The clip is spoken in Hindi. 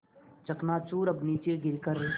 चकनाचूर अब नीचे गिर कर